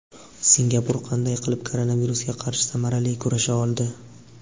Singapur qanday qilib koronavirusga qarshi samarali kurasha oldi?.